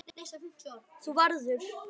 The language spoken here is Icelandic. Þú verður.